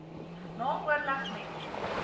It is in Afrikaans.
na oorleg met